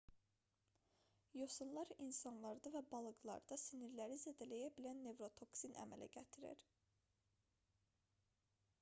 yosunlar insanlarda və balıqlarda sinirləri zədələyə bilən nevrotoksin əmələ gətirir